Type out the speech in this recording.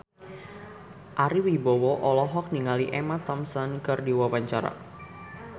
Ari Wibowo olohok ningali Emma Thompson keur diwawancara